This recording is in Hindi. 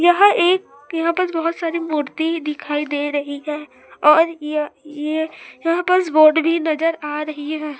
यह एक यहां पर बहोत सारी मूर्ति दिखाई दे रही है और यह ये यहां पास बोर्ड भी नजर आ रही है।